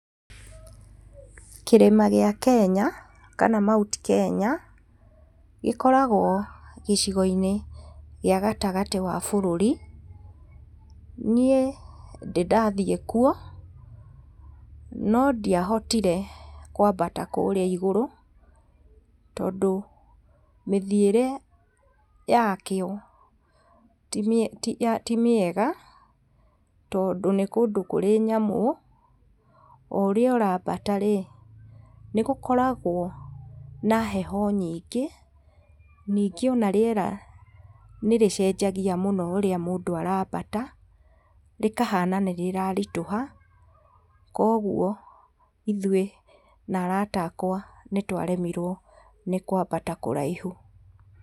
Kĩrĩma gĩa Kenya kana mount Kenya gĩkoragwo gĩcigo-inĩ gĩa gatagatĩ ga bũrũri, niĩ ndĩ ndathiĩ kuo nondiahoire kwambata kũrĩa igũrũ, tondũ mĩthiĩre yakĩo timĩega tondũ nĩ kũndũ kũrĩ nyamũ, oũrĩa ũrambatarĩ, nĩgũkoragwo na heho nyingĩ, ningĩ ona rĩera nĩrĩgĩcenjagia mũno rĩrĩa mũndũ arambata, rĩkahana nĩrĩraritũha, koguo ithuĩ na arata akwa nĩtwaremirwo nĩkwambata kũraihu.